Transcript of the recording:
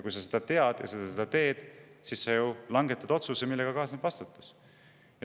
Kui sa seda tead ja sa seda teed, siis sa langetad otsuse, millega kaasneb vastutus.